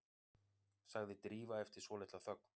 sagði Drífa eftir svolitla þögn.